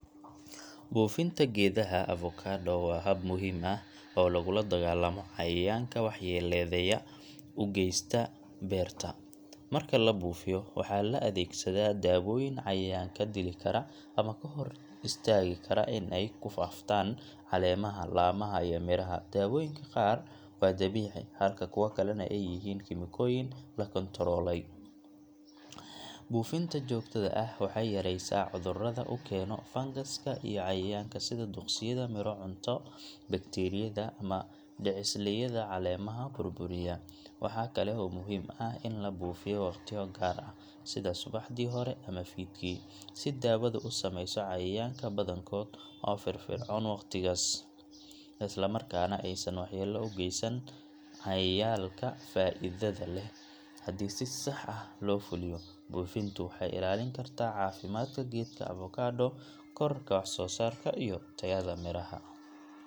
Buufinta geedaha avocado waa hab muhiim ah oo lagula dagaallamo cayayaanka waxyeellada u geysta beerta. Marka la buufiyo, waxaa la adeegsadaa daawooyin cayayaanka dili kara ama ka hor istaagi kara in ay ku faaftaan caleemaha, laamaha, iyo midhaha. Daawooyinka qaar waa dabiici, halka kuwa kalena ay yihiin kiimikooyin la kantaroolay. Buufinta joogtada ah waxay yareysaa cudurrada uu keeno fangaska iyo cayayaanka sida duqsiyada miro cunta, bakteeriyada, ama dhicisleyda caleemaha burburiya. Waxa kale oo muhiim ah in la buufiyo waqtiyo gaar ah, sida subaxdii hore ama fiidkii, si daawadu u saameyso cayayaanka badankood oo firfircoon waqtigaas, isla markaana aysan waxyeello u geysan cayayaalka faa’iidada leh. Haddii si sax ah loo fuliyo, buufintu waxay ilaalin kartaa caafimaadka geedka avocado, kororka wax soo saarka, iyo tayada miraha.